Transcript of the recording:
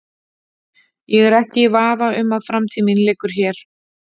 Ég er ekki í vafa um að framtíð mín liggur hér.